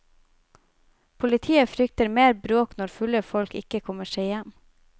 Politiet frykter mer bråk når fulle folk ikke kommer seg hjem.